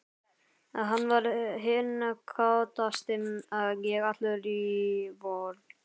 Hann var hinn kátasti, ég allur í vörn.